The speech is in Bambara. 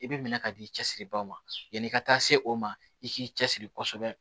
I bɛ minɛ ka di i cɛsiribaw ma yanni i ka taa se o ma i k'i cɛsiri kosɛbɛ